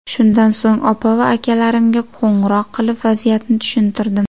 Shundan so‘ng opa va akalarimga qo‘ng‘iroq qilib, vaziyatni tushuntirdim.